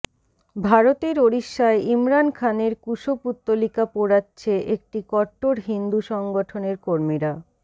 ভারতের ওড়িষ্যায় ইমরান খানের কুশপুত্তলিকা পোড়াচ্ছে একটি কট্টর হিন্দু সংগঠনের কর্মীরা